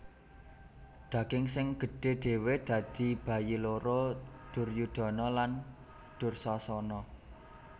Daging sing gedhe dhewe dadi bayi loro Duryudana lan Dursasana